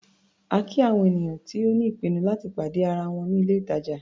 A kí àwọn ènìyàn tó ní ìpinnu láti pàdé ara wọn ní ilé-ìtàjà.